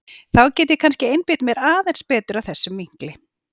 Þá get ég kannski einbeitt mér aðeins betur að þessum vinkli.